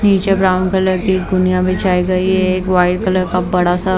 नीचे brown colour की गुनिया बिछाई गई है वाइट कलर का बड़ा सा--